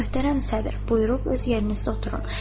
Möhtərəm sədr, buyurub öz yerinizdə oturun.